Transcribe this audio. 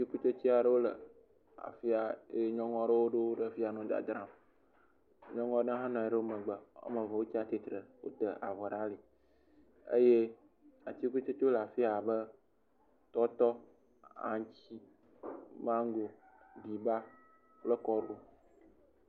Atikutsetse aɖewo wo le afi ya eye nyɔnua wo ɖo wo ɖe afi ya nɔ dzadzram. Nyɔnu aɖewo nɔ womegbe eye wotsi atsitre eye wota avɔ ɖe alieye atikutsetewo le afiya abe tɔtɔ, aŋuti, mango ɖiba kple kɔɖu.